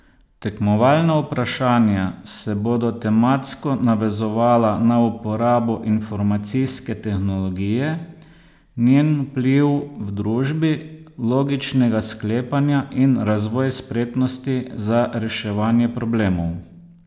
Tekmovalna vprašanja se bodo tematsko navezovala na uporabo informacijske tehnologije, njen vpliv v družbi, logičnega sklepanja in razvoj spretnosti za reševanje problemov.